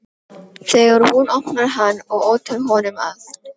Þegar hún opnar hann og otar honum að